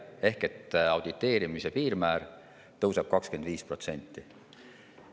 Ehk auditeerimise piirmäär tõuseb 25%.